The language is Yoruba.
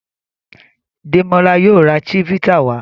Demola yíò rà chivita wa.